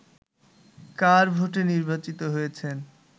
কার ভোটে নির্বাচিত হয়েছেন